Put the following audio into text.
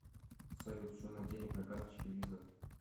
салют сумма денег на карточке виза